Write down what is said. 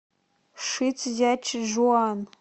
шицзячжуан